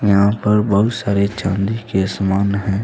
यहां पर बहुत सारे चांदी के समान है।